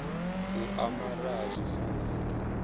u amara ha zwifuwo hu